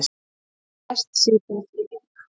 Hann lést síðdegis í dag.